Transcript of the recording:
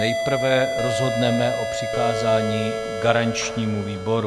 Nejprve rozhodneme o přikázání garančnímu výboru.